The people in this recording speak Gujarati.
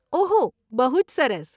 ઓહો.. બહુ જ સરસ.